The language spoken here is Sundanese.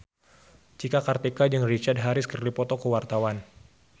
Cika Kartika jeung Richard Harris keur dipoto ku wartawan